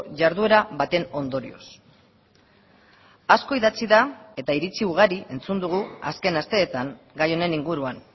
jarduera baten ondorioz asko idatzi da eta iritzi ugari entzun dugu azken asteetan gai honen inguruan